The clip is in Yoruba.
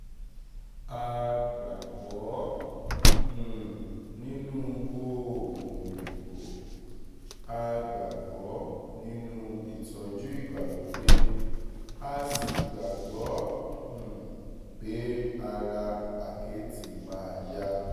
a gbàgbọ́ um nínú oògùn òyìnbó a gbàgbọ́ nínú ìtọ́jú ìgbàlódé a sì gbàgbọ́ um pé ara àkẹ́tì máa yá